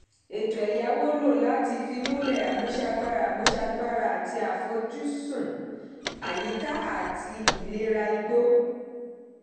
ètò ẹ̀yáwó lò láti fìmúlẹ̀ àmúṣagbára àmúṣagbára àti àfojúsọn àyíká àti ìlera igbó.